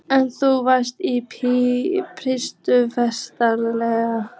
En þú varst í þýsku fangelsi